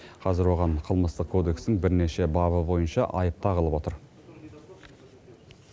қазір оған қылмыстық кодекстің бірнеше бабы бойынша айып тағылып отыр